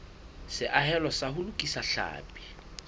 seahelo sa ho lokisa tlhapi